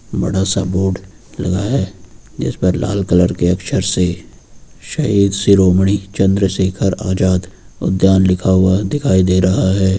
बड़ा सा बोर्ड लगा है जिस पर लाल कलर के अक्षर से शहीद शिरोमणि चंद्रशेखर आजाद उद्यान लिखा हुआ दिखाई दे रहा है।